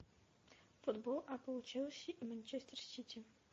футбол апл челси и манчестер сити